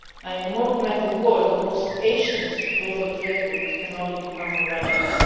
In a more connected world the most ancient global trade route can only become more relevant.